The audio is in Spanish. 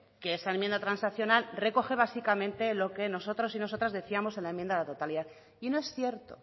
que esta enmienda transaccional recoge básicamente lo que nosotros y nosotras decíamos en la enmienda de la totalidad y no es cierto